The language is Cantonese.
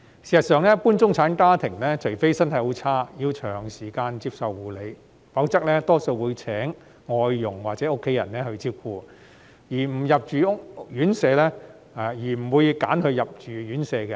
事實上，一般中產家庭的長者除非身體很差，要長時間接受護理，否則大多數會聘請外傭或由家人照顧，不會選擇入住院舍。